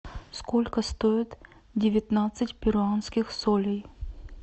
сколько стоит девятнадцать перуанских солей